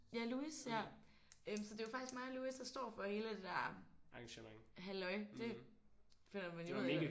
Ja Louis ja øh så det er jo faktisk mig og Louis der står for hele det der halløj. Det finder man jo ud af